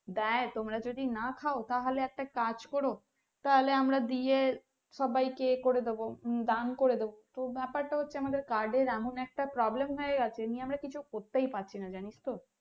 দেয় তোমরা যদি না খাও তাহলে একটা কাজ করো তাহলে আমরা দিয়ে সবাই কে এ করে দেব দান করে দেব তো ব্যাপার টা হচ্ছে আমাদের card এর এমন একটা Problem হয়ে আছে নিয়ে আমরা কিছুই করতেই পারছি না জানিস তো